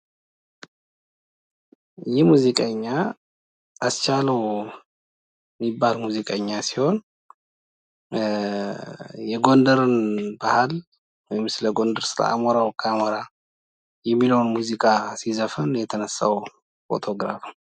ይህ ሙዚቀኛ አስቻለው የሚባል ሙዚቀኛ ሲሆን የጎንደርን ባህል ወይም ስለጎንደር አሞራው ካሞራ የሚለውን ሙዚቃ ሲዘፍኑ የተነሳ ፎቶ ነው።